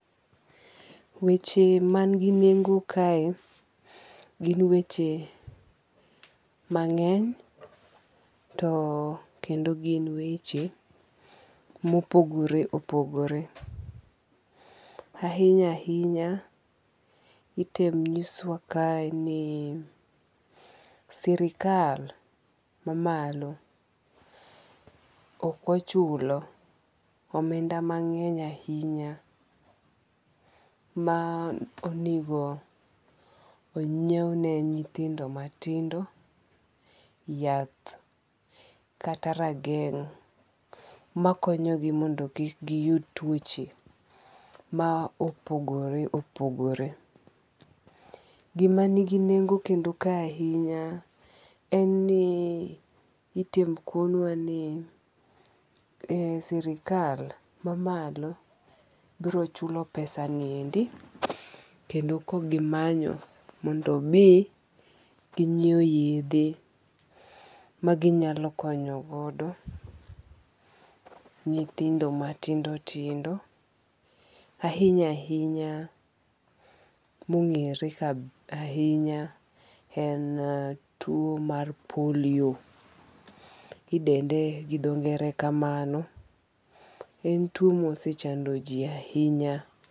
Weche man gi nengo kae gin weche mang'eny to kendo gin weche mopogore opogore. Ahinya ahinya, item nyiswa kae ni sirkal ma malo okochulo omenda mang'eny ahinya ma onego onyiew ne nyithindo matindo yath kata rageng' makonyo gi mondo kik giyud tuoche ma opogore opogore. Gima nigi nengo kendo ka ahinya en ni itim kounwa ni sirkal mamalo biro chulo pesani ni endi kendo kogimanyo mondo mi gienyiew yedhe ma ginyalo konyo godo nyithindo matindo tindo ahinya ahinya mong'ere ahinya e tuo mar polio idende gi dho ngere kamano. En tuo mosechando ji ahinya.